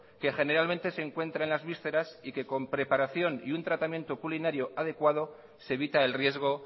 que generalmente se encuentra en las vísceras y que con preparación y un tratamiento culinario adecuado se evita el riesgo